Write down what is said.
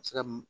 Se ka